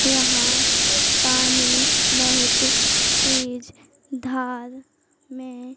यहां पानी बहुत तेज धार में--